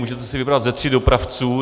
Můžete si vybrat ze tří dopravců.